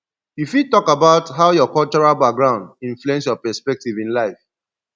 you fit talk about how your cultural background influence your perspective in life